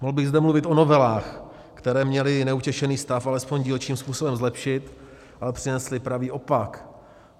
Mohl bych zde mluvit o novelách, které měly neutěšený stav alespoň dílčím způsobem zlepšit, ale přinesly pravý opak.